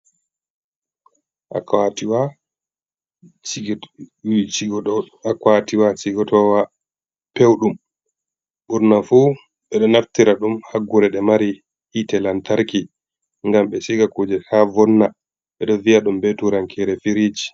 Akwatiwa cigotowa pewɗum ɓurna fu ɓeɗo naftira ɗum haggure ɗe mari hitte lantarki, ngam be siga kuje ta vonna, ɓeɗo viya ɗum be turankere firiji.